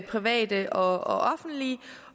private og offentlige